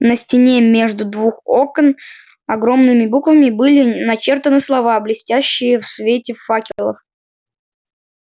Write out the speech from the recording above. на стене между двух окон огромными буквами были начертаны слова блестящие в свете факелов